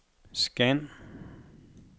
scan